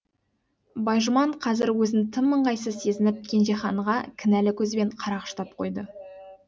байжұман қазір өзін тым ыңғайсыз сезініп кенжеханға кінәлі көзбен қарағыштап қояды